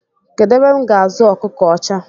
Kedụ ebe m ga-azụ ọkụkọ ọcha?